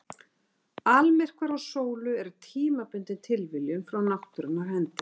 Almyrkvar á sólu eru tímabundin tilviljun frá náttúrunnar hendi.